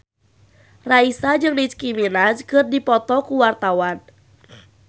Raisa jeung Nicky Minaj keur dipoto ku wartawan